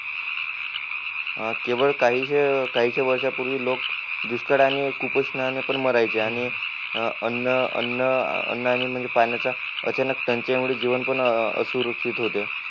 अं केवळ काहीशे काहीशे वर्षा पूर्वी पण मारायचे आणि अन्न अन्न अन्नाने म्हणजे पाण्याच्या त्याचे जीवन पण असुरक्षित होते